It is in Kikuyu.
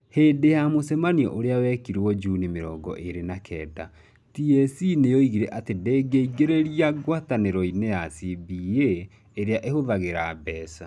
Hĩndĩ ya mũcemanio ũrĩa wekĩrirũo Juni mĩrongo ĩrĩ na kenda, TSC nĩ yoigire atĩ ndĩngĩĩingĩria ngwatanĩro-inĩ ya CBA ĩrĩa ĩhũthagĩra mbeca.